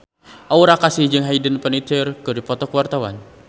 Aura Kasih jeung Hayden Panettiere keur dipoto ku wartawan